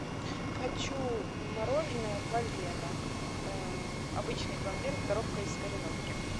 хочу мороженое полено обычный пломбир коровка из кореновки